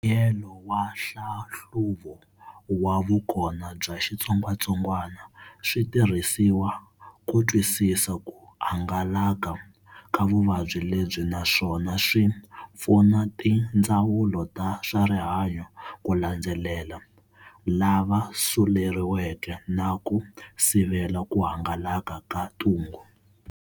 Mbuyelo wa hlahluvo wa vukona bya xitsongwatsongwana switirhisiwa kutwisisa ku hangalaka ka vuvabyi lebyi naswona swi pfuna tindzawulo ta swa rihanyo ku landzelela lava suleriweke na ku sivela ku hangalaka ka ntungu.